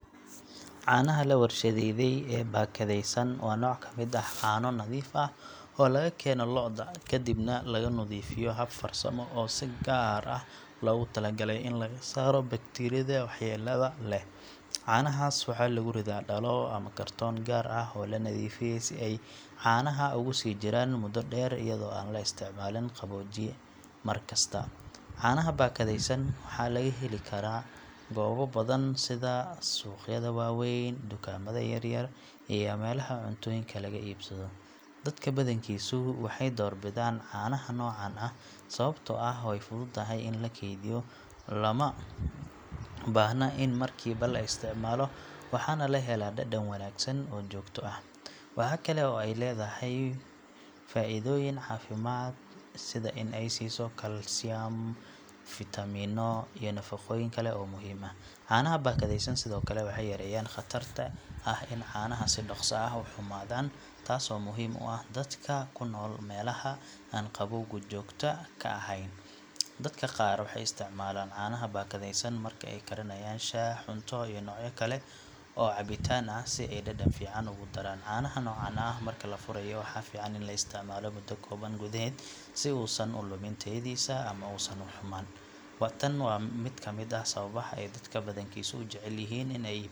Caanaha la warshadeeyey ee baakadaysan waa nooc ka mid ah caano nadiif ah oo laga keeno lo’da, kadibna lagu nadiifiyo hab farsamo ah oo si gaar ah loogu tala galay in laga saaro bakteeriyada waxyeelada leh. Caanahaas waxaa lagu ridaa dhalo ama kartoon gaar ah oo la nadiifiyey si ay caanaha ugu sii jiraan muddo dheer iyadoo aan la isticmaalin qaboojiye mar kasta. Caanaha baakadaysan waxaa laga heli karaa goobo badan sida suuqyada waaweyn, dukaamada yar yar iyo meelaha cuntooyinka laga iibsado. Dadka badankiisu waxay door bidaan caanaha noocan ah sababtoo ah way fududahay in la kaydiyo, lama baahna in markiiba la isticmaalo waxaana la helaa dhadhan wanaagsan oo joogto ah. Waxa kale oo ay leedahay faa'iidooyin caafimaad sida in ay siiso jirka kalsiyum, fiitamiino iyo nafaqooyin kale oo muhiim ah. Caanaha baakadaysan sidoo kale waxay yareeyaan khatarta ah in caanaha si dhaqso ah u xumaadaan, taasoo muhiim u ah dadka ku nool meelaha aan qabowgu joogto ka ahayn. Dadka qaar waxay isticmaalaan caanaha baakadaysan marka ay karinayaan shaah, cunto iyo noocyo kale oo cabitaan ah si ay dhadhan fiican ugu daraan. Caanaha noocan ah marka la furayo waxaa fiican in la isticmaalo muddo kooban gudaheed si uu uusan u lumin tayadiisa ama uusan u xumaan. Tani waa mid ka mid ah sababaha ay dadka badankiisu u jecel yihiin in ay iibsadaan caanaha baakadaysan marka la barbar dhigo caanaha.